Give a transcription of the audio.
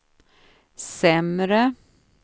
sämre